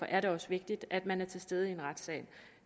er det også vigtigt at man er til stede i en retssal